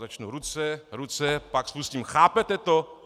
Začnu ruce, ruce , pak spustím "Chápete to?